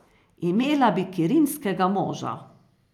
Imela bi kirinskega moža.